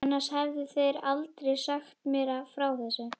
Annars hefðu þeir aldrei sagt mér frá þessu.